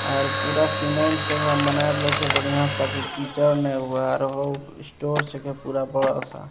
आर पूरा सीमेंट से एकरा बनाएल रहे छे बढ़िया छे ताकि कीचड़ नै हो आर वो स्टोर छके पूरा बड़ा सा।